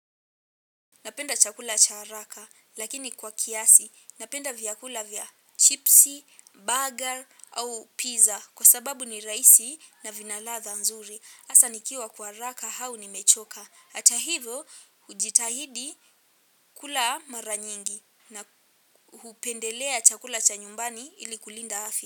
Napenda chakula cha haraka lakini kwa kiasi. Napenda vyakula vya chipsi, burger au pizza kwa sababu ni rahisi na vina ladha nzuri. Hasa nikiwa kwa haraka hau nimechoka. Hata hivyo hujitahidi kula mara nyingi na hupendelea chakula cha nyumbani ili kulinda afya.